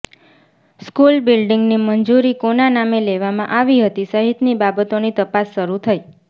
school બિલ્ડિંગની મંજૂરી કોના નામે લેવામાં આવી હતી સહિતની બાબતોની તપાસ શરૂ થઈ